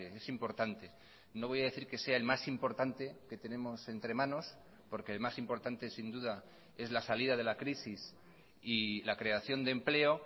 es importante no voy a decir que sea el más importante que tenemos entre manos porque el más importante sin duda es la salida de la crisis y la creación de empleo